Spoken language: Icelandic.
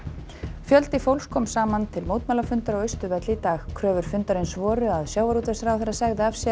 fjöldi fólks kom saman til mótmælafundar á Austurvelli í dag kröfur fundarins voru að sjávarútvegsráðherra segði af sér